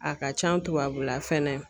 A ka can tubabula fɛnɛ.